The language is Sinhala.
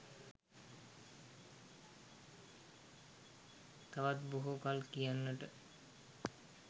තවත් බොහො කල් කියන්නට